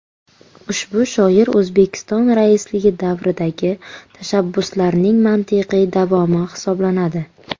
Ushbu shior O‘zbekiston raisligi davridagi tashabbuslarning mantiqiy davomi hisoblanadi.